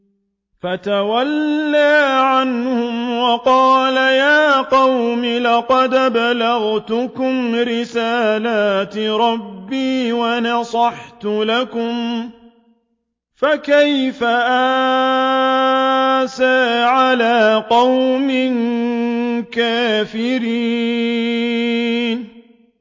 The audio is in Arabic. فَتَوَلَّىٰ عَنْهُمْ وَقَالَ يَا قَوْمِ لَقَدْ أَبْلَغْتُكُمْ رِسَالَاتِ رَبِّي وَنَصَحْتُ لَكُمْ ۖ فَكَيْفَ آسَىٰ عَلَىٰ قَوْمٍ كَافِرِينَ